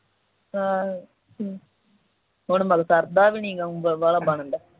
ਆਹ ਹਮ ਹੁਣ ਮਲ ਸਰਦਾ ਵੀ ਨਾ ਉ ਬਾਲਾ ਬਣਦਾ